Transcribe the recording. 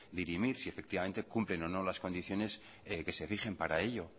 dirimir si efectivamente cumplen o no las condiciones que se rigen para ello